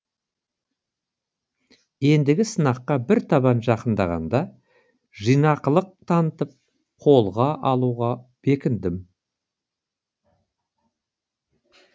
ендігі сынаққа бір табан жақындағанда жинақылық танытып қолға алуға бекіндім